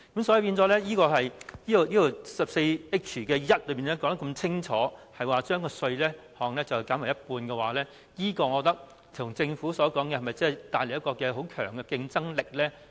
所以，第 14H1 條說得這麼清楚，要將稅項減半，是否一如政府所說，可以為香港帶來很強的競爭力呢？